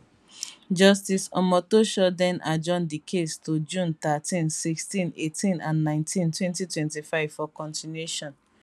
justice omotosho den adjourn di case to june thirteen 16 18 and 19 2025 for continuation